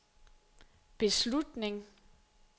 beslutning